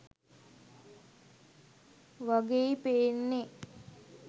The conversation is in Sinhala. වගෙයි පේන්නේ